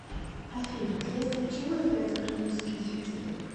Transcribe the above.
афина следствием чего является хронический дефицит